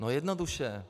No jednoduše.